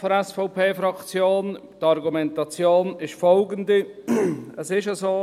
Die Argumentation ist die Folgende, es ist so: